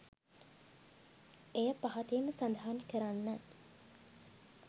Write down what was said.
එය පහතින් සදහන් කරන්න.